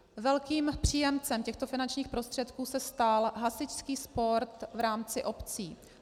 Velkým příjemcem těchto finančních prostředků se stal hasičský sport v rámci obcí.